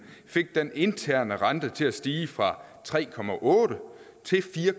fik den interne rente til at stige fra tre til